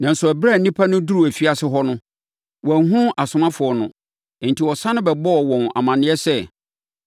Nanso, ɛberɛ a nnipa no duruu afiase hɔ no, wɔanhunu asomafoɔ no; enti wɔsane ba bɛbɔɔ wɔn amaneɛ sɛ,